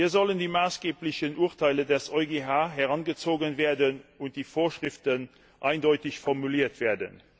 Hier sollen die maßgeblichen Urteile des EuGH herangezogen und die Vorschriften eindeutig formuliert werden.